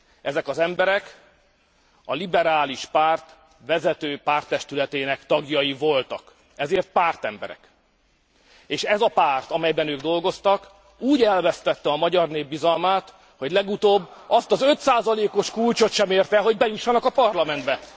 Ezek az emberek a liberális párt vezető párttestületének tagjai voltak, ezért pártemberek, és ez a párt, amelyben ők dolgoztak, úgy elvesztette a magyar nép bizalmát, hogy legutóbb azt az 5 os kulcsot sem érte el, hogy bejussanak a Parlamentbe.